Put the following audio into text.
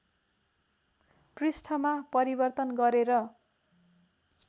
पृष्ठमा परिवर्तन गरेर